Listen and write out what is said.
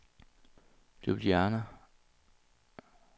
Ljubljana